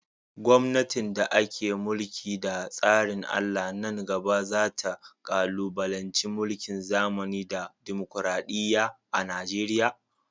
gomnatin da ake mulki da tsarin Allah nan gaba za ta kalubalanci mulkin zamani da dimokuradiyya a Najeriya.